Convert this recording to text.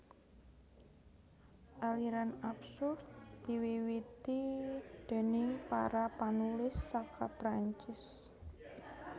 Aliran absurd diwiwiti déning para panulis saka Perancis